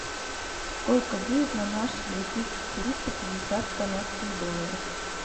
сколько будет на наши две тысячи триста пятьдесят канадских долларов